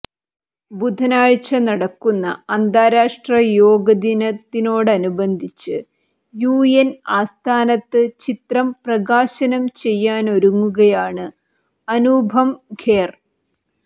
ബുധനാഴ്ച നടക്കുന്ന അന്താരാഷ്ട്ര യോഗ ദിനത്തോടനുബദ്ധിച്ച് യു എൻ ആസ്ഥാനത്ത് ചിത്രം പ്രകാശനം ചെയ്യാനൊരുങ്ങുകയാണ് അനുപം ഖേർ